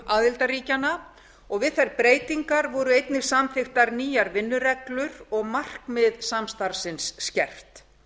aðildarríkjanna við þær breytingar voru einnig samþykktar nýjar vinnureglur og markmið samstarfsins skerpt